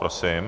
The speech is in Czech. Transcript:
Prosím.